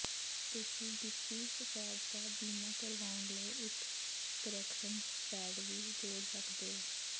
ਤੁਸੀਂ ਗਿੱਪੀ ਸਫੈਦ ਦਾ ਬੀਮਾ ਕਰਵਾਉਣ ਲਈ ਇੱਕ ਕਰੈਕਸ਼ਨ ਪੈਡ ਵੀ ਜੋੜ ਸਕਦੇ ਹੋ